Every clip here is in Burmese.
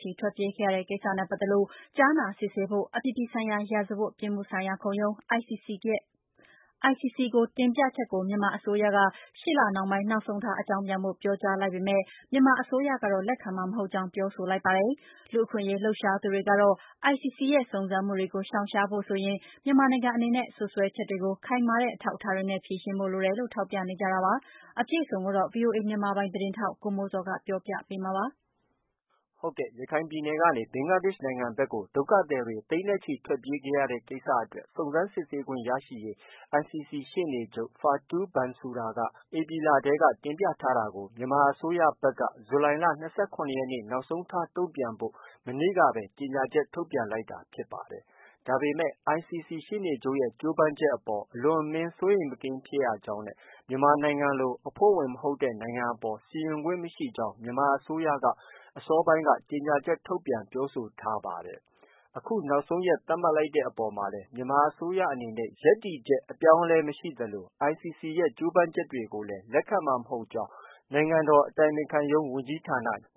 ချီ ထွက်ပြေးခဲ့ရတဲ့ ကိစ္စနဲ့ ပတ်သက်လို့ ကြားနာစစ်ဆေးဖို့ အပြည်ပြည်ဆိုင်ရာ ရာဇဝတ်ပြစ်မှုဆိုင်ရာခုံရုံး ကို တင်ပြချက်ကို မြန်မာအစိုးရက ရှေ့လနှောင်းပိုင်း နောက်ဆုံးထား အကြောင်းပြန်ဖို့ ပြောကြား လိုက်ပေမဲ့ မြန်မာအစိုးရကတော့ လက်ခံမှာမဟုတ်ကြောင်း ပြောဆိုလိုက်ပါတယ်။ လူ့အခွင့်အရေး လှုပ်ရှားသူတွေကတော့ ICC ရဲ့ စုံစမ်းမှုတွေကို ရှောင်ရှားဖို့ဆိုရင် မြန်မာနိုင်ငံအနေနဲ့ စွပ်စွဲချက်တွေကို ခိုင်မာတဲ့ အထောက်အထားတွေနဲ့ ဖြေရှင်းဖို့ လိုတယ်လို့ ထောက်ပြနေကြတာပါ။ အပြည့်အစုံ ကိုတော့ ဗွီအိုအေ မြန်မာပိုင်းသတင်းထောက် ကိုမိုးဇော်က ပြောပြပေးမှာ ဖြစ်ပါတယ်။ ရခိုင်ပြည်နယ်ကနေ ဘင်္ဂလားဒေ့ရှ်နိုင်ငံဘက်ကို ဒုက္ခသည်တွေ သိန်းနဲ့ချီ ထွက်ပြေးခဲ့ရတဲ့ ကိစ္စအတွက် စုံစမ်းစစ်ဆေးခွင့်ရရေး ICC ရှေ့နေချုပ် Fatou Bensouda က ဧပြီလထဲ တင်ပြထားတာကို မြန်မာအစိုးရဘက်က ဇူလိုင်လ ၂၇ ရက်နေ့ နောက်ဆုံးထား တုံ့ပြန်ဖို့ မနေ့တုန်းကပဲ ကြေညာချက် ထုတ်ပြန်လိုက်တာ ဖြစ်ပါတယ်။ ဒါပေမဲ့လည်း ICC ရှေ့နေချုပ်ရဲ့ ကြိုးပမ်းမှုအပေါ် အလွန်အမင်း စိုးရိမ်မကင်း ဖြစ်ရကြောင်းနဲ့ မြန်မာနိုင်ငံလို အဖွဲ့ဝင် မဟုတ်တဲ့ နိုင်ငံအပေါ် စီရင်ပိုင်ခွင့် မရှိကြောင်း မြန်မာအစိုးရက အစောပိုင်းမှာ ကြေညာချက်ထုတ်ပြန်ပြောဆိုထားပါတယ်။ အခုနောက်ဆုံးရက် သတ်မှတ် လိုက်ပေမဲ့လည်း မြန်မာအစိုးရအနေနဲ့ ရပ်တည်ချက် အပြောင်းအလဲမရှိသလို ICC ရဲ့ ကြိုးပမ်းမှုကိုလည်း လက်ခံနိုင်မှာ မဟုတ်ကြောင်းလည်း နိုင်ငံတော် အတိုင်ပင်ခံပုဂ္ဂိုလ်ရုံး ညွှ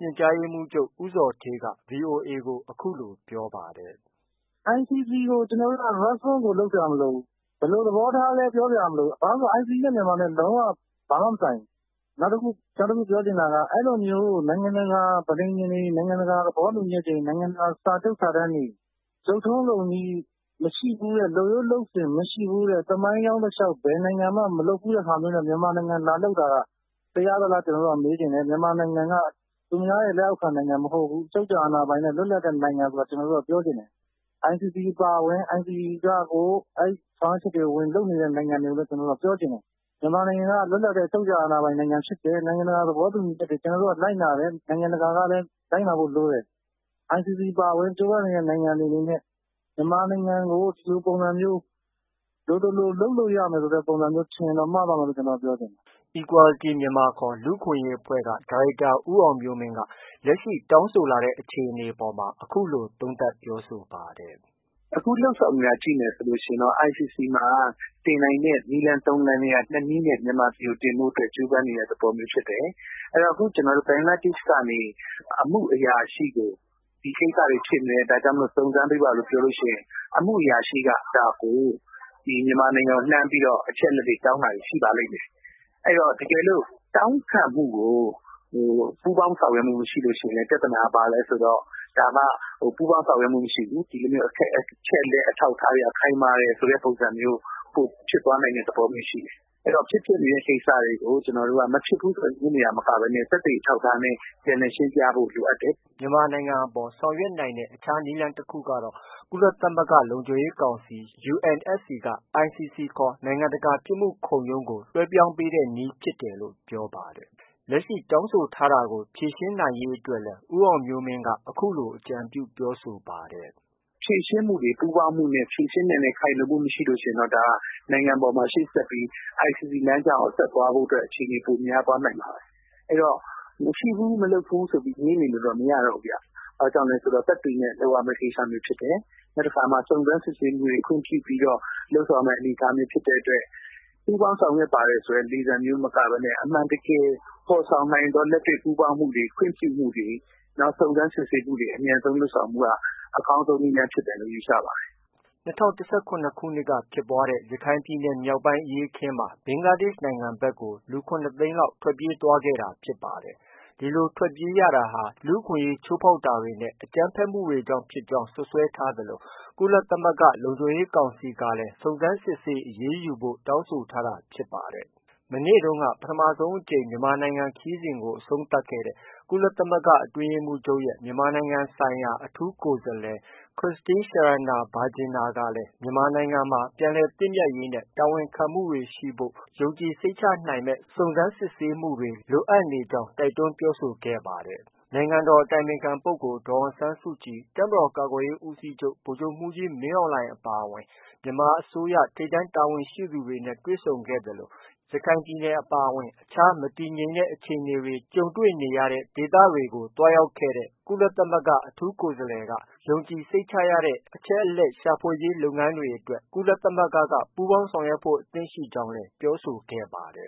န်ကြားရေးမှူးချုပ် ဦးဇော်ဌေး ဗွီအိုအေကို အခုလိုပြောပါတယ်။ “ICC ကို ကျနော်တို့က response ကို လုပ်စရာမလိုဘူး။ ”ဘယ်လို သဘောထားလဲ-ပြောစရာမလိုဘူး။ ဘာလို့တုန်းဆိုတော့ ICC နဲ့ မြန်မာနဲ့ လုံးဝ ဘာမှမဆိုင်ဘူး။ နောက်တခုပြောချင်တာက အဲလိုမျျိုး နိုင်ငံတကာ ပဋိဉာဉ်တွေ၊ နိုင်ငံတကာ သဘောတူညီချက်တွေ၊ နိုင်ငံတကာ စာချုပ်စာတမ်းတွေ၊ လုပ်ထုံးလုပ်နည်းမရှိဘူးတဲ့၊ လုပ်ရိုးလုပ်စဉ်မရှိဘူးတဲ့၊ သမိုင်းကြောင်းတလျှောက် ဘယ်နိုင်ငံမှာမှ မလုပ်ဘူးတဲ့ဟာမျိုးနဲ့ မြန်မာနိုင်ငံကိုလာလုပ်တာ တရားသလား- ကျနော်တို့က မေးချင်တယ်။ မြန်မာနိုင်ငံက သူများရဲ့လက်အောက်ခံနိုင်ငံမဟုတ်ဘူး။ အချုပ်အခြာအာဏာပိုင်တဲ့ လွတ်လပ်တဲ့နိုင်ငံဆိုတာကို ကျနော်တို့က ပြောချင်တယ်။ ICC အပါအဝင် ICC ကရော…အဲဒီ ဆောင်ရွက်ချက်တွေ ဝင်လုပ်နေတဲ့နိုင်ငံတွေကိုလည်း ကျနော်တို့က ပြောချင်တယ်။ မြန်မာနိုင်ငံက လွတ်လပ်တဲ့ အချုပ်အခြာ အာဏာပိုင် နိုင်ငံဖြစ်တယ်။ ကျနော်တို့က နိုင်ငံတကာ သဘောတူညီချက်တွေကို လိုက်နာတယ်။ နိုင်ငံတကာကလည်း လိုက်နာဖို့လိုတယ်။ ICC အပါအဝင်…….နိုင်ငံတွေ အနေနဲ့ မြန်မာနိုင်ငံကို ဒီလိုပုံစံမျိုး လိုသလို လုပ်လို့ရမယ်ဆိုတဲ့ပုံစံမျိုး ထင်ရင်တော့ မှားသွားမယ်လို့ ကျနော်က ပြောချင်တယ်။” Equality Myanmar ခေါ် လူ့အခွင့်အရေးအဖွဲ့က ဒါရိုက်တာဦးအောင်မျိုးမင်းက လက်ရှိ တောင်းဆိုလာတဲ့ အခြေအနေအပေါ် အခုလို သုံးသပ်ပြောဆိုပါ တယ်။ “အခုလုပ်ဆောင်နေတာ ကြည့်မယ်ဆိုရင် ICC မှာ တင်နိုင်တဲ့ နည်းလမ်း ၃လမ်းထဲက ၂ နည်းနဲ့ တင်ဖို့ ကြိုးပမ်းနေတဲ့ သဘောမျိုးဖြစ်တယ်။ အခု ကျနော်တို့ ဘင်္ဂလားဒေ့ရှ်ကနေ အမှုအရာရှိကို ဒီကိစ္စတွေဖြစ်နေတယ်။ ဒီကိစ္စတွေ စုံစမ်းပေးပါလို့ ပြောလို့ရှိရင် အမှုအရာရှိက အဲဒါကို မြန်မာနိုင်ငံကို လှမ်းပြီးတော့ အချက်အလက်တွေ တောင်းတာရှိပါတယ်။ တကယ်လို့ တောင်းခံမှုကို ပူးပေါင်းဆောင်ရွက်မှုမရှိလို့ ရှိရင်လည်း ပြဿနာက ဘာလဲဆိုတော့ ဒါက ပူးပေါင်းဆောင်ရွက်မှု မရှိဘူး။ အချက်အလက်အထောက်အထားတွေက ခိုင်မာတယ်ဆိုပြီး ပိုဖြစ်သွားနိုင်တဲ့သဘောရှိတယ်။ အဲတော့ ဖြစ်ပျက်နေတဲ့ ကိစ္စတွေကို မဖြစ်ဘူးဆို ငြင်းနေတာမျိုးမဟုတ်ဘဲ သက်သေအထောက်အထားနဲ့ ပြန်လည်ရှင်းပြဖို့ လိုအပ်တယ်။” မြန်မာနိုင်ငံအပေါ် ဆောင်ရွက်နိုင်တဲ့ အခြားနည်းလမ်းတခုကတော့ ကုလသမဂ္ဂလုံခြုံရေးကောင်စီ UNSC က ICC ခေါ် နိုင်ငံတကာ ပြစ်မှုခုံရုံးကို လွဲှပြောင်းပေးတဲ့နည်းဖြစ်တယ်လို့ ပြောပါတယ်။ လက်ရှိ တောင်းဆိုထားတာကို ဖြေရှင်းနိုင်ရေးအတွက်လည်း ဦးအောင်မျိုးမင်းက အခုလို အကြံပြု ပြောဆိုပါတယ်။ “ဖြေရှင်းမှုတွေ ပူးပေါင်းနဲ့ဖြေရှင်းနိုင်တဲ့ ခိုင်လုံမှုမရှိရင်တော့ ဒါက နိုင်ငံပေါ်မှာ ရှေ့ဆက်ပြီး ICC လမ်းကြောင်းပေါ် ဆက်သွားဖို့အတွက် အခြေအနေ ပိုများ သွားနိုင်ပါတယ်။ အဲတော့ မရှိဘူး၊ မဖြစ်ဘူးဆိုပြီး ငြင်းနေလို့တော့ မရတော့ဘူးဗျ။ ဘာကြောင့်လဲဆိုတော့ သက်သေနဲ့ လုပ်ရမယ့် ကိစ္စမျိုးဖြစ်တယ်။ နောက် တခါမှာ စုံစမ်းစစ်ဆေးမှုတွေ ခွင့်ပြုပြီးတော့ လုပ်ဆောင်ရမယ့် အနေအထားမျိုးဖြစ်တဲ့အတွက် ပူးပေါင်းဆောင်ရွက် ပါတယ်ဆိုတဲ့ လေသံမျိုး မကဘဲနဲ့ အမှန်တကယ် ဖော်ဆောင်နိုင်သော လက်တွေ့ ပူးပေါင်းမှုတွေ ခွင့်ပြုမှုတွေ စုံစမ်းစစ်ဆေးမှုတွေ အမြန်ဆုံးလုပ်ဆောင်မှုက အကောင်းဆုံး နည်းလမ်း ဖြစ်မယ်လို့ ယူဆပါတယ်။” ၂၀၁၇ ခုနှစ်က ဖြစ်ပွားခဲ့တဲ့ ရခိုင်ပြည်နယ်မြောက်ပိုင်းအရေးအခင်းမှာ ဘင်္ဂလားဒေ့ရှ်နိုင်ငံ ဘက်က လူ ၇ သိန်းလောက် ထွက်ပြေးသွားခဲ့တာဖြစ်ပါတယ်။ ဒီလို ထွက်ပြေးရတာဟာ လူ့အခွင့်အရေးချိုးဖောက်တာတွေနဲ့ အကြမ်းဖက်မှုတွေကြောင့် ဖြစ်ကြောင်း စွပ်စွဲ ထား သလို ကုသမဂ္ဂလုံခြုံရေးကောင်စီကလည်း စုံစမ်းစစ်ဆေး အရေးယူဖို့ တောင်းဆို ထားတာဖြစ်ပါတယ်။ မနေ့တုန်းက ပထမဆုံးအကြိမ် မြန်မာနိုင်ငံခရီးစဉ်ကို အဆုံးသတ်ခဲ့တဲ့ ကုလသမဂ္ဂ အတွင်းရေးမှူးချုပ်ရဲ့ မြန်မာနိုင်ငံဆိုင်ရာ အထူးကိုယ်စားလှယ် Christine Schraner Burgener ခရစ္စတင်း ရှာရနာ ဘာဂျင်နာ ကလည်း မြန်မာနိုင်ငံမှာ ပြန်လည်သင့်မြတ်ရေး နဲ့ တာဝန်ခံမှုတွေရှိဖို့ ယုံကြည်စိတ်ချ နိုင်မယ့် စုံစမ်းစစ်ဆေးမှုတွေ လိုအပ်နေကြောင်း တိုက်တွန်းပြောဆိုခဲ့တာပါ။ နိုင်ငံတော် အတိုင်ပင်ခံပုဂ္ဂိုလ် ဒေါ်အောင်ဆန်းစုကြည်၊ တပ်မတော် ကာကွယ်ရေးဦးစီးချုပ် ဗိုလ်ချုပ်မှူးကြီး မင်းအောင်လှိုင် အပါအဝင် မြန်မာ အစိုးရ ထိပ်တန်းတာဝန်ရှိသူတွေနဲ့ တွေ့ဆုံခဲ့သလို ရခိုင်ပြည်နယ် အပါအဝင် မတည်မငြိမ် အခြေအနေတွေကြုံခဲ့ရတဲ့ ဒေသတွေကို သွားရောက်ခဲ့တဲ့ ကုလသမဂ္ဂ အထူးကိုယ်စား လှယ်က ယုံကြည်စိတ်ချရတဲ့ အချက်အလက် ရှာဖွေရေး လုပ်ငန်းတွေအတွက် ကုလ သမဂ္ဂက ပူးပေါင်းဆောင်ရွက်ဖို့ အသင့်ရှိနေကြောင်းလည်း ပြောဆိုခဲ့ပါတယ်။